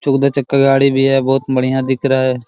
चौदह चक्का गाड़ी भी है बहुत बढ़िया दिख रहा है।